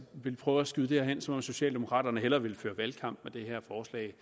ville prøve at skyde det hen som om socialdemokraterne hellere ville føre valgkamp med det her forslag